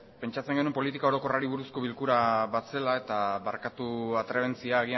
pentsatzen genuen politika orokorrari buruzko bilkura bat zela eta barkatu atrebentzia